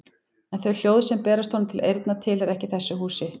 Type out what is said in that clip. En þau hljóð sem berast honum til eyrna tilheyra ekki þessu húsi.